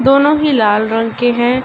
दोनों ही लाल रंग के हैं।